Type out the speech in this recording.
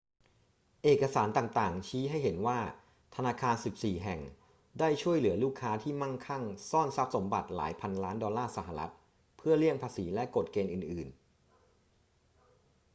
เอกสารต่าง ๆ ชี้ให้เห็นว่าธนาคาร 14 แห่งได้ช่วยเหลือลูกค้าที่มั่งคั่งซ่อนทรัพย์สมบัติหลายพันล้านดอลลาร์สหรัฐฯ เพื่อเลี่ยงภาษีและกฎเกณฑ์อื่น ๆ